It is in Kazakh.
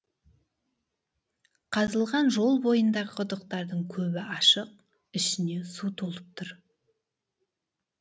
қазылған жол бойындағы құдықтардың көбі ашық ішіне су толып тұр